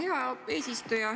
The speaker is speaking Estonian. Hea eesistuja!